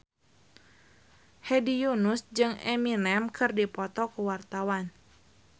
Hedi Yunus jeung Eminem keur dipoto ku wartawan